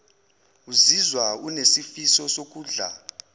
uzizwa unesifiso sokudla